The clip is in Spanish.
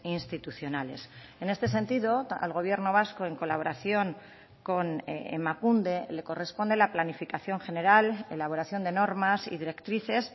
institucionales en este sentido al gobierno vasco en colaboración con emakunde le corresponde la planificación general elaboración de normas y directrices